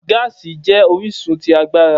Gaasi jẹ orisun ti agbara.